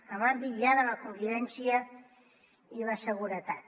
en l’àmbit ja de la convivència i la seguretat